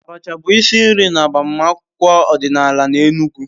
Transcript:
Abacha bụ isi nri n'agbamakwụkwọ ọdịnala n'Enugwu.